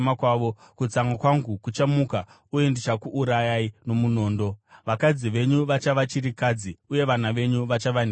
Kutsamwa kwangu kuchamuka, uye ndichakuurayai nomunondo; vakadzi venyu vachava chirikadzi uye vana venyu vachava nherera.